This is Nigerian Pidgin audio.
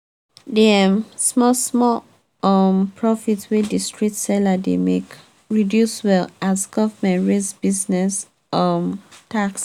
the um small-small um profit wey the street seller dey make reduce well as government raise business um tax.